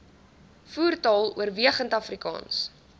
voertaal oorwegend afrikaans